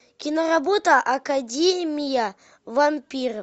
киноработа академия вампиров